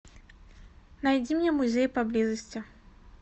найди мне музей поблизости